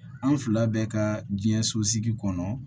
An fila bɛ ka diɲɛ sosigi kɔnɔ